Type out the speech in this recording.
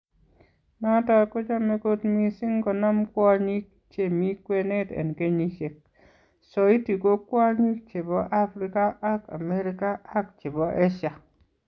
Noton kochome kot mising konam kwonyik che mi kwenet en kenyisiek. Soiti ko kwonyik chepo africa ag america ag chepo asia.